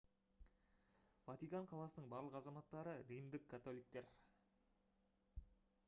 ватикан қаласының барлық азаматтары римдік католиктер